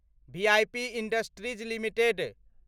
VIP industries limited